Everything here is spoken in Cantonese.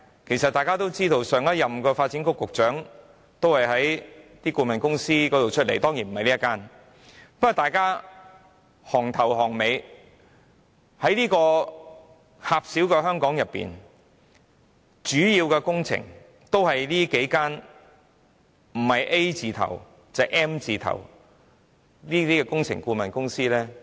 其實大家也知道前任發展局局長也是顧問公司出身的，但當然不是這一間，不過，大家"行頭行尾"，在狹小的香港裏，主要的工程也是由這數間不是 A 字頭便是 M 字頭的工程顧問公司包攬。